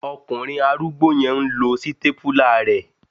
Ọkùnrin arúgbó yẹn n lo sítépúlà rẹ